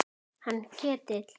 Hann Ketil?